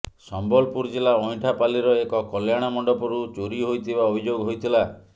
ସମ୍ବଲପୁର ଜିଲ୍ଲା ଅଇଁଠାପାଲ୍ଲିର ଏକ କଲ୍ୟାଣମଣ୍ଡପରୁ ଚୋରି ହୋଇଥିବା ଅଭିଯୋଗ ହୋଇଥିଲା